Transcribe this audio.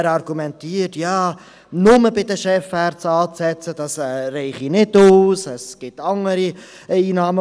Er argumentiert, nur bei den Chefärzten anzusetzen, sei nicht ausreichend, denn die Ärzte hätten noch andere Einnahmen.